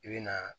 I bɛ na